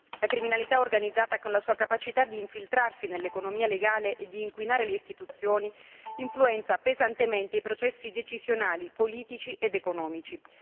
La criminalità organizzata, con la sua capacità di infiltrarsi nell'economia legale e di inquinare le istituzioni, influenza pesantemente i processi decisionali politici ed economici.